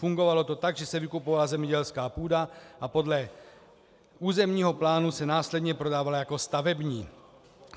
Fungovalo to tak, že se vykupovala zemědělská půda a podle územního plánu se následně prodávala jako stavební.